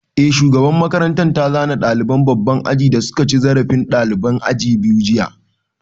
Eh, shugaban makaranta ta zane ɗaliban babban aji da suka ci zarafin ɗaliban aji biyu jiya